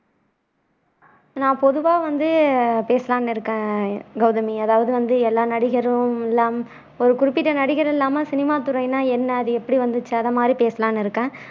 நான் பொதுவா வந்து பேசலாம்னு இருக்கேன் கௌதமி அதாவது வந்து எல்லா நடிகரும் இல்லாம ஒரு குறிப்பிட்ட நடிகர் இல்லாம சினிமாத்துறைனா என்ன அது எப்படி வந்துச்சு அதை மாதிரி பேசலாம்னு இருக்கேன்